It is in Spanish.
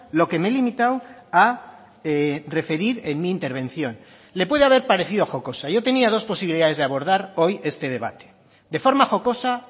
lo que me he limitado a referir en mi intervención le puede haber parecido jocosa yo tenía dos posibilidades de abordar hoy este debate de forma jocosa